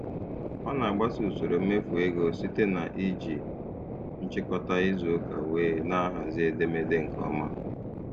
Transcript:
Ọ na-agbaso usoro mmefu ego site na iji nchịkọta izu ụka wee na-ahazi edemede nke ọma.